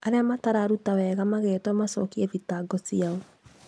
Arĩa matararuta wega magetwo macokie thitango ciao